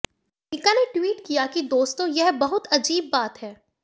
मीका ने ट्वीट किया कि दोस्तों यह बहुत अजीब बात है